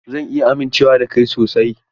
Zan iya amincewa da kai sosai?